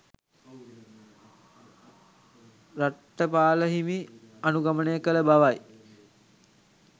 රට්ඨපාල හිමි අනුගමනය කළ බවයි